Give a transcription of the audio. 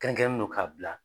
Kɛrɛnkɛrɛnnen don ka bila.